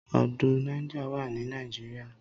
Odò Niger wà ní Nigeria.